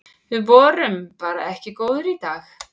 Við vorum bara ekki góðir í dag.